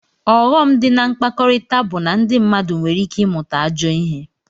Ọghọm di na mkpakọrita bu na ndi mmadu nwere ike imụta ajọ ihe.